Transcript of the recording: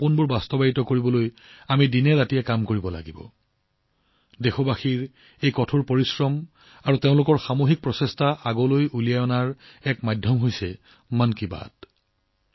তেওঁলোকৰ সপোন বাস্তৱায়িত কৰিবলৈ আমি দিনে নিশাই পৰিশ্ৰম কৰিব লাগিব আৰু দেশবাসীৰ এই কঠোৰ পৰিশ্ৰম আৰু তেওঁলোকৰ সামূহিক প্ৰচেষ্টাক সন্মুখলৈ অনাৰ মাধ্যম মাথোঁ মন কী বাত